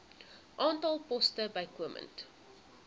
aantal poste bykomend